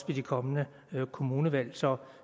det kommende kommunevalg så